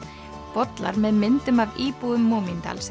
bollar með myndum af íbúum